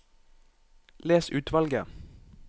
Les utvalget